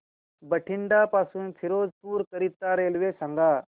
बठिंडा पासून फिरोजपुर करीता रेल्वे सांगा